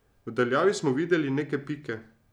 V daljavi smo videli neke pike.